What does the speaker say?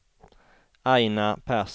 Aina Persson